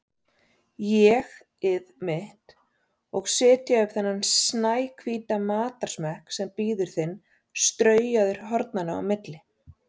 ÉG-ið mitt, og setja upp þennan snæhvíta matarsmekk sem bíður þín straujaður hornanna á milli.